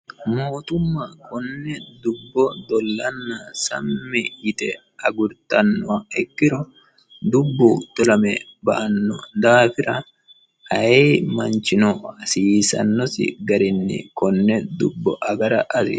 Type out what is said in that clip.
mootumma konne dubbo dllanna sammi yite agurtannoha ikiro, dubbu dolame ba'anno daafira ayee manchino hasiisannosi garinni konne dubbo agara hasiissanno.